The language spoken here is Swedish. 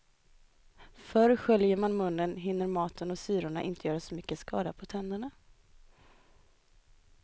För sköljer man munnen hinner maten och syrorna inte göra så mycket skada på tandytan.